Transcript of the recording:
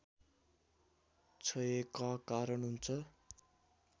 क्षयका कारण हुन्छ